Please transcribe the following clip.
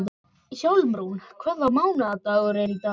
Hjálmrún, hvaða mánaðardagur er í dag?